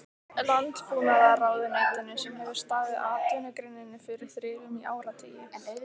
Landbúnaðarráðuneytinu sem hefur staðið atvinnugreininni fyrir þrifum í áratugi!